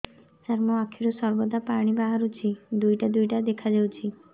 ସାର ମୋ ଆଖିରୁ ସର୍ବଦା ପାଣି ବାହାରୁଛି ଦୁଇଟା ଦୁଇଟା ଦେଖାଯାଉଛି